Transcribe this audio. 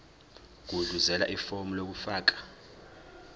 gudluzela ifomu lokufaka